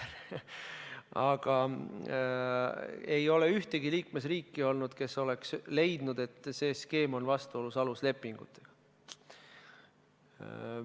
Aga ei ole ühtegi liikmesriiki olnud, kes oleks leidnud, et see skeem on vastuolus aluslepingutega.